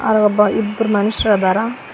ಹಾಗು ಒಬ್ಬ ಇಬ್ಬರು ಮನುಷ್ಯರ್ ಅದರ.